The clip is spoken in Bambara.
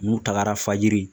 N'u tagara fajiri